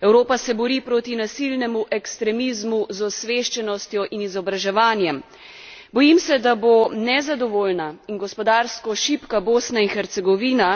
Evropa se bori proti nasilnemu ekstremizmu z osveščenostjo in izobraževanjem, Bojim se, da bo nezadovoljna in gospodarsko šibka Bosna in Hercegovina